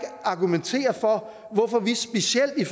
argumentere for hvorfor vi specielt i